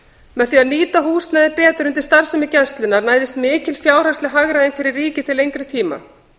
með því að nýta húsnæði betur undir starfsemi gæslunnar næðist mikil fjárhagsleg hagræðing fyrir ríkið til lengri tíma